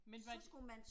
Men var det